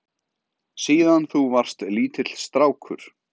Síðan þú varst lítill strákur?